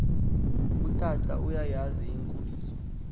utata uyayazi inkoliso